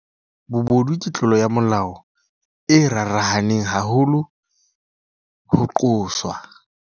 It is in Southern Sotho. Bobodu ke tlolo ya molao e rarahaneng haholo ho qoswa.